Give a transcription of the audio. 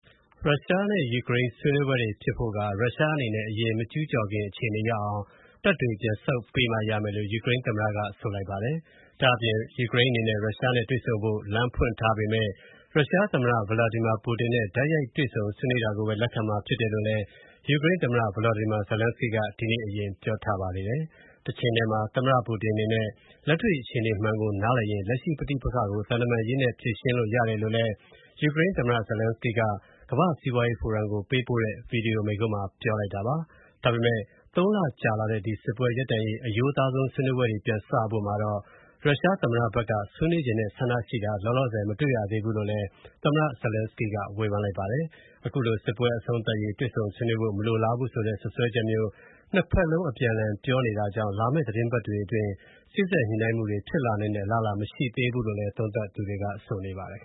ရုရှားနဲ့ယူကရိန်းဆွေးနွေးပွဲဖြစ်ဖို့က ရုရှားအနေနဲ့ အရင်မကျုးကျော်ခင်အခြေအနေရောက်အောင် တပ်ပြန်ဆုပ်ပေးမှရမယ်လို့ ယူကရိန်းသမ္မတက ဆိုလိုက်ပါတယ်။ ဒါ့အပြင် ယူကရိန်းအနေနဲ့ ရုရှားနဲ့ တွေ့ဆုံဆွေးနွေးဖို့ လမ်းဖွင့်ထားပေမယ့် ရုရှားသမ္မတ Vladimir Putin နဲ့ တိုက်ရိုက်တွေ့ဆုံ ဆွေးနွေးတာကိုပဲ လက်ခံမှာဖြစ်တယ်လို့လည်း ယူကရိန်းသမ္မတ Volodymyr Zelenskyy က ဒီနေ့ အရင် ပြောထားပါသေးတယ်။ တချိန်တည်းမှာ Putin အနေနဲ့ လက်တွေ့ အခြေအနေမှန်ကိုနားလည်ရင် လက်ရှိပဋိပက္ခကို သံတမန်ရေးနည်းနဲ့ ဖြေရှင်းလို့ရတယ်လို့လည်း ယူကရိန်းသမ္မတ Zelenskyy က ကမ္ဘာ့စီးပွားရေးဖိုရမ် ကို ပေးပို့တဲ့ ဗွီဒီယိုမိန့်ခွန်းမှာ ပြောလိုက်တာပါ။ ဒါပေမယ့် ၃ လ ကြာလာတဲ့ ဒီ စစ်ပွဲရပ်တန်ရေး အရိုးသားဆုံး ဆွေးနွေးမူတွေ ပြန်စဖို့မှာ ရုရှားသမ္မတဘက်က ဆွေးနွေးချင်တဲ့ဆန္ဒရှိတာ လောလောဆယ် မတွေ့ရသေးဘူးလို့လည်း သမ္မတ Zelenskyy က ဝေဖန်လိုက်ပါတယ်။ အခုလို ဒီစစ်ပွဲအဆုံးသတ်ရေး တွေ့ဆုံ ဆွေးနွေးဖို့ မလိုလားဘူးဆိုတဲ့ စွပ်စွဲချက်မျိုး ၂ ဘက်လုံး အပြန်အလှန် ပြောနေတာကြောင့် လာမယ့် သီတင်းပတ်တွေအတွင်း စေ့စပ်ညှိနိုှုင်းမှုတွေ ဖြစ်လာနိုင်တဲ့ အလားအလာ မရှိသေးဘူးလို့လည်း သုံးသပ်သူတွေက ဆိုပါတယ်။